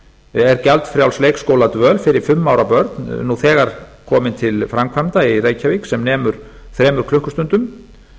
er gjaldfrjáls leikskóladvöl fyrir fimm ára börn nú þegar komin til framkvæmda í reykjavík sem nemur þremur klukkustundum